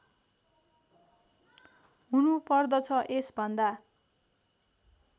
हुनु पर्दछ यसभन्दा